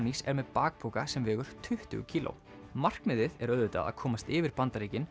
er með bakpoka sem vegur tuttugu kíló markmiðið er auðvitað að komast yfir Bandaríkin